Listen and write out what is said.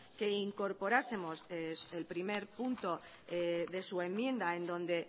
que incorporásemos el primer punto de su enmienda en donde